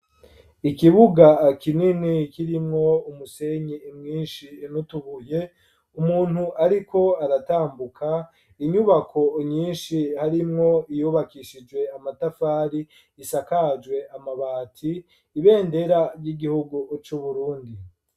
Ikibuga kinini kirimwo umusenyi imwinshi ,mutubuye umuntu ariko aratambuka ,inyubako nyinshi harimwo iyubakishijwe amatafari, isakajwe amabati, ibendera ry'igihugu c'uburundi.